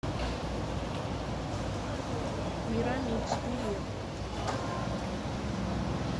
мирамикс билет